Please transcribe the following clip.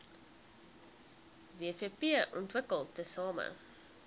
wvp ontwikkel tesame